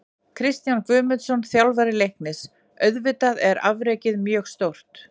Kristján Guðmundsson, þjálfari Leiknis: Auðvitað er afrekið mjög stórt.